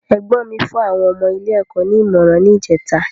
Ẹ̀gbọ́n mi fún àwọn ọmọ ilé ẹ̀kọ́ ní ìmọràn ni ìjèta